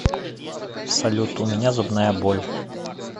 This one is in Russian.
салют у меня зубная боль